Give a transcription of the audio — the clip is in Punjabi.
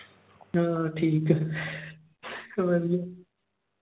ਹਾਂ ਠੀਕ ਐ ਵਧੀਆਂ।